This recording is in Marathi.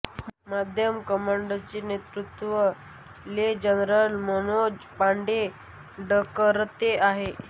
मध्यम कमांडच नेत्रुत्व ले जनरल मनोज पांडे डकरते आहे